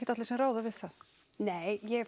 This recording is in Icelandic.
allir sem ráða við það nei ég